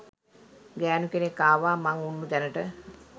ගෑණු කෙනෙක් ආවා මං උන්නු තැනට